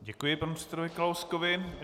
Děkuji panu předsedovi Kalouskovi.